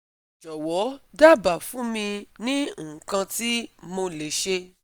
Jowo daaba fun mi ni ikan ti mo le se